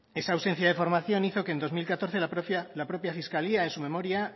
esa ausencia de formación hizo que en dos mil catorce la propia fiscalía en su memoria